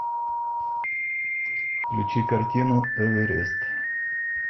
включи картину эверест